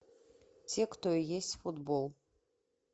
те кто и есть футбол